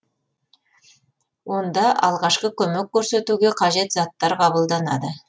онда алғашқы көмек көрсетуге қажет заттар қабылданады